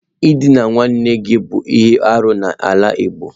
Ịdịna nwanne gị bụ ihe arụ n'ala igbo.